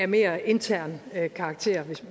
mere intern karakter